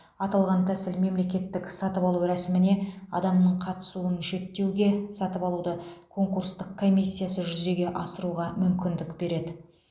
аталған тәсіл мемлекеттік сатып алу рәсіміне адамның қатысуын шектеуге сатып алуды конкурстық комиссиясыз жүзеге асыруға мүмкіндік береді